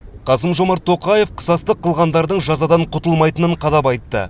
қасым жомарт тоқаев қысастық қылғандардың жазадан құтылмайтынын қадап айтты